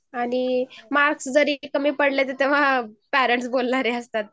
mark जरी कमी पडले तरी पेरेंट्स बोलणारे असतात